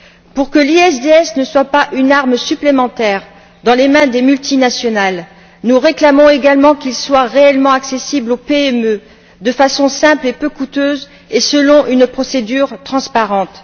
Pour que l'ISDS ne soit pas une arme supplémentaire dans les mains des multinationales, nous réclamons également qu'il soit réellement accessible aux PME de façon simple et peu coûteuse, et selon une procédure transparente.